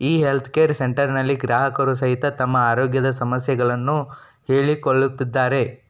ಈ ಹೆಲ್ತ್ಕೇರ್ ಸೆಂಟರ್ನಲ್ಲಿ ಗ್ರಾಹಕರು ಸಹಿತ ತಮ್ಮ ಆರೋಗ್ಯದ ಸಮಸ್ಯಗಳನ್ನು ಹೇಳಿ ಕೊಳ್ಳುತ್ತಿದ್ದಾರೆ.